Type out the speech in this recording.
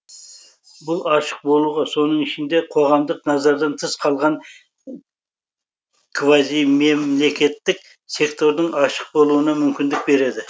бұл ашық болуға соның ішінде қоғамдық назардан тыс қалған квазимемлекеттік сектордың ашық болуына мүмкіндік береді